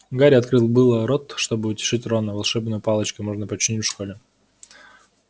гарри открыл было рот чтобы утешить рона волшебную палочку можно починить в школе